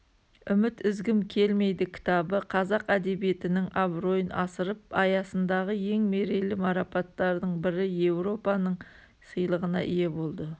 үміт үзгім келмейді кітабы қазақ әдебиетінің абыройын асырып аясындағы ең мерейлі марапаттардың бірі еуропаның сыйлығына ие болды